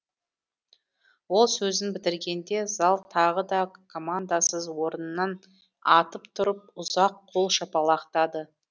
ол сөзін бітіргенде зал тағы да командасыз орнынан атып тұрып ұзақ қол шапалақтады